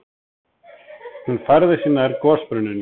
Hún færði sig nær gosbrunninum.